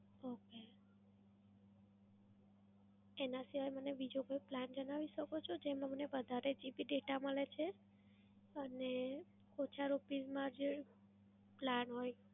Okay. એનાં સિવાય મને બીજો કોઈ plan જણાવી શકો છો જેમાં મને વધારે GB data મળે છે અને ઓછા rupees માં જે plan હોય?